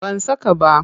Ban saka ba.